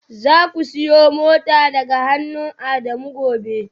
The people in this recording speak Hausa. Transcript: Zaku siyo motar daga hannun Adamu gobe